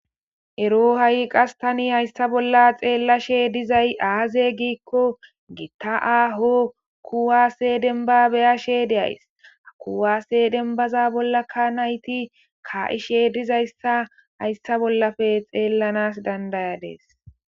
ero ha7i qas tani hayssa bolla xeellashe dizay aaze giikko giitta aaho kuwaase denba beyashee de7ays ha kuwaase denbaza bollakka nayti ka7ishe dizayssa hayssa bollafe xeellanas dandayadis